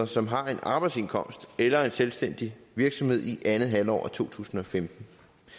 som har en arbejdsindkomst eller en selvstændig virksomhed i andet halvår af to tusind og femten